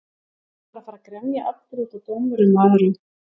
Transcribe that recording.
Á maður að fara að grenja aftur útaf dómurum og öðru?